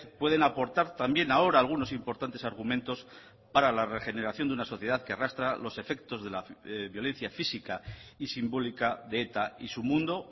pueden aportar también ahora algunos importantes argumentos para la regeneración de una sociedad que arrastra los efectos de la violencia física y simbólica de eta y su mundo